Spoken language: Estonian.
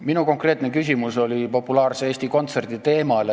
Minu konkreetne küsimus oli populaarse Eesti Kontserdi teemal.